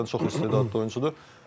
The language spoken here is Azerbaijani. Həqiqətən çox istedadlı oyunçudur.